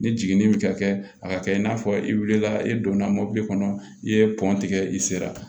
Ni jiginni bɛ ka kɛ a ka kɛ i n'a fɔ i wulila i donna mobili kɔnɔ i ye pɔn tigɛ i sera